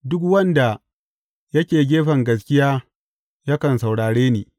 Duk wanda yake gefen gaskiya yakan saurare ni.